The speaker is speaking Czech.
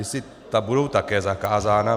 Jestli ta budou také zakázána...